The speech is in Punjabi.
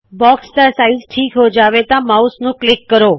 ਬਾਕਸ ਦਾ ਸਾਈਜ਼ ਜ਼ਰੂਰਤ ਅਨੁਸਾਰ ਹੋ ਜਾਵੇ ਤਾੰ ਮਾਉਸ ਨੂੰ ਕਲਿੱਕ ਕਰੋ